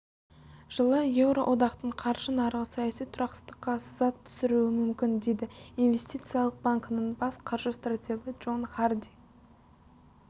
жылы еуроодақтың қаржы нарығы саяси тұрақсыздыққа сызат түсіруі мүмкін дейді инвестициялық банкінің бас қаржы стратегіджон харди